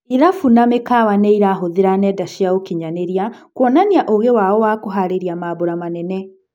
Irabu na mĩkawa nĩĩrahuthĩra nenda cia ũkinyanĩria kuonania ũũgĩ wao wa kũharĩria mambũra manene.